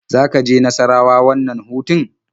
Za ka je Nassarawa wannan hutun?